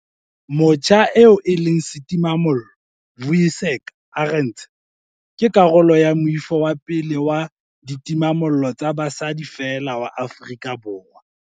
Motjha eo e leng setimamollo, Vuyiseka Arendse, ke karolo ya moifo wa pele wa ditimamollo tsa basadi feela wa Afrika Borwa.